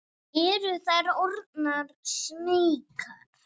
Eru þær orðnar smeykar?